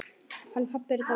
Hann pabbi er dáinn.